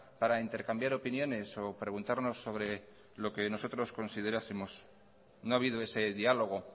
para intercambiar opiniones o preguntarnos sobre lo que nosotros considerásemos no ha habido ese diálogo